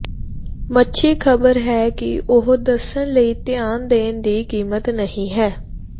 ਮੱਛੀ ਖਬਰ ਹੈ ਕਿ ਉਹ ਦੱਸਣ ਲਈ ਧਿਆਨ ਦੇਣ ਦੀ ਕੀਮਤ ਨਹੀ ਹੈ